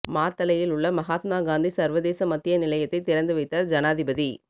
மாத்தளையில் உள்ள மகாத்மா காந்தி சர்வதேச மத்திய நிலையத்தை திறந்து வைத்தார் ஜனாதிபதி